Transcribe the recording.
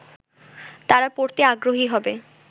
তারা পড়েতে আগ্রহী হবে